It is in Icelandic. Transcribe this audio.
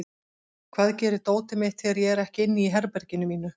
Hvað gerir dótið mitt þegar ég er ekki inn í herberginu mínu?